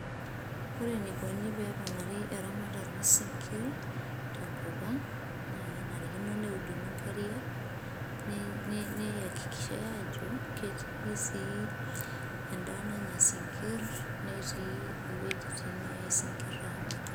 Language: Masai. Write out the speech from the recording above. ore enaikoni peponari eramatare osinkir tenkop ang ,na kenarikino neuduni inkariak ne neyakikishai ajo kiti sii endaa nanya isinkir netii iweujitin neyae isinkir amirie.